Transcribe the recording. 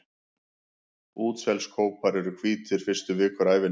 Útselskópar eru hvítir fyrstu vikur ævinnar.